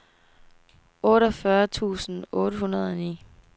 otteogfyrre tusind otte hundrede og ni